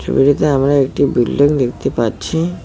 ছবিটিতে আমি একটি বিল্ডিং দেখতে পাচ্ছি।